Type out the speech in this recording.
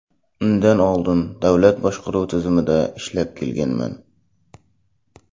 Undan oldin davlat boshqaruv tizimida ishlab kelganman.